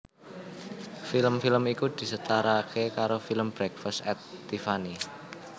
Film film iku disetarake karo film Breakfast at Tiffany